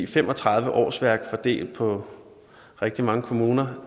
fem og tredive årsværk fordelt på rigtig mange kommuner